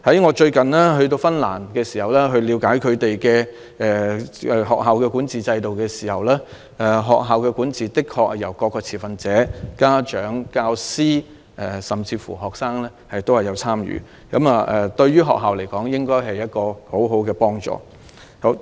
我最近到訪芬蘭了解當地的學校管治制度時亦發現，學校的管治的確是由各持份者包括家長、教師甚至學生共同參與，這對學校來說應該是很好的幫助。